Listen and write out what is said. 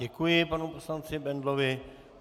Děkuji panu poslanci Bendlovi.